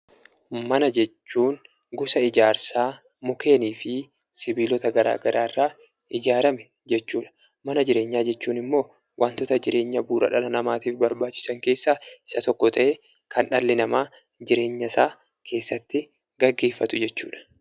Mana jechuun gosa ijaarsaa mukkeenii fi sibiilota garaagaraa irraa ijaarame jechuudha . Mana jechuun waantota jireenya bu'uuraa dhala namaaf barbaachisan keessaa isa tokko ta'ee kan dhalli namaa jireenya isaa keessatti gaggeeffatudha.